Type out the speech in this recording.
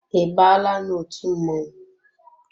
I baala n'otu mmọnwụ?